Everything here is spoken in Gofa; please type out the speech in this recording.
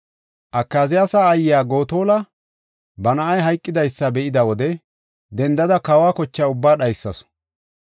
Akaziyaasa aayiya Gotola ba na7ay hayqidaysa be7ida wode, dendada kawa kocha ubbaa dhaysasu.